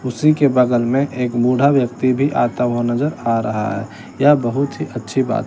उसी के बगल में एक बुढ़ा व्यक्ति भी आता हुआ नजर आ रहा है यह बहुत ही अच्छी बात--